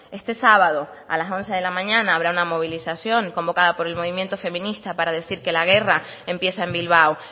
este sábado a las once de la mañana habrá una movilización convocada por el movimiento feminista para decir que la guerra empieza en bilbao